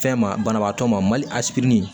Fɛn ma banabaatɔ ma mali asidi